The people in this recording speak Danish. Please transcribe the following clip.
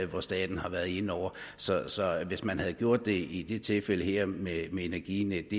hvor staten har været inde over så hvis man havde gjort det i det tilfælde her med energinetdk